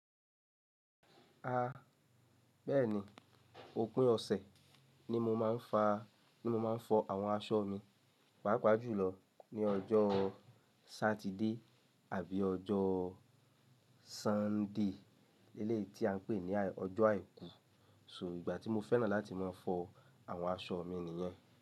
A bẹ́ẹ̀ni, òpin ọ̀sẹ̀ ni mo máa ń fa, ni mo máa ń fọ àwọn aṣọ mi, pàápàá jùlọ ní ọjọ́ Sátidé àbí ọjọ́ Súndè eléyìí tí a ń pè ní ọjọ́ àìkú. So ìgbà tí mo fẹ́ràn láti máa fọ àwọn aṣọ mi nìyẹn.